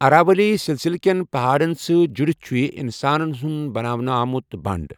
اراولی سلسِلہٕ کٮ۪ن پہاڑَن سۭتۍ جڑِتھ چھُ یہِ انسانَن ہُنٛد بناونہٕ آمُت بنڑ۔